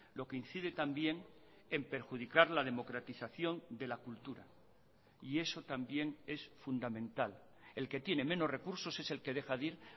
lo que incide también en perjudicar la democratización de la cultura y eso también es fundamental el que tiene menos recursos es el que deja de ir